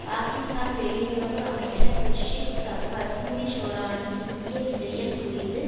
பாகிஸ்தான் வெளியுறவு அமைச்சர் குர்ஷித் கசூரி ஷெரோனின் இந்திய விஜயம் குறித்து